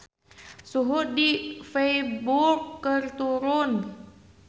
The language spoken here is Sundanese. Suhu di Feiburg keur turun